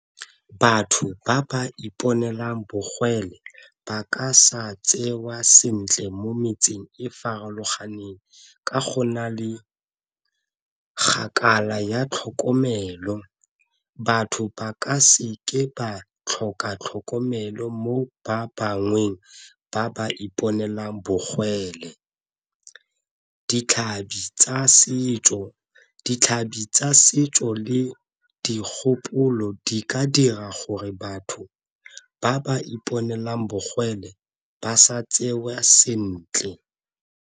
Batho ba ba iponelang bogole ba ka sa tsewa sentle mo metseng e farologaneng ka go na le ya tlhokomelo, batho ba ka seke ba tlhoka tlhokomelo mo ba bangweng ba ba iponela bogwele. Ditlhabi tsa setso, ditlhabi tsa setso le dikgopolo di ka dira gore batho ba ba iponela bogole ba sa tsewa sentle.